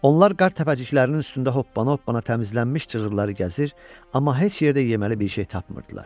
Onlar qar təpəciklərinin üstündə hoppana-hoppana təmizlənmiş cığırları gəzir, amma heç yerdə yeməli bir şey tapmırdılar.